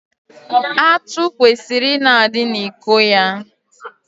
Atụ kwesịrị ị na-adị n'iko ya.